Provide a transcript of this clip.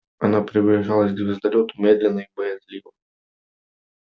она приближалась к звездолёту медленно и боязливо